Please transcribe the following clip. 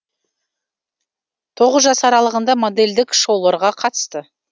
тоғыз жас аралығында модельдік шоуларға қатысты